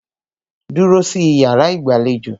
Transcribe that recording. Dúró sí iyàrá ìgbàlejò!